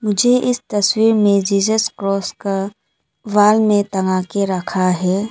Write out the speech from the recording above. मुझे इस तस्वीर में जीझस क्रॉस का वाल में टंगाके रखा है।